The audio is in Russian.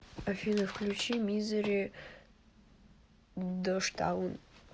афина включи мизери дожтаун